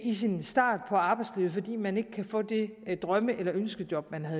i sin start på arbejdslivet fordi man ikke kan få det drømme eller ønskejob man